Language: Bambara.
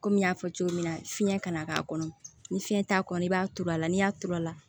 Komi n y'a fɔ cogo min na fiɲɛ kana k'a kɔnɔ ni fiɲɛ t'a kɔnɔ i b'a turu a la n'i y'a turu a la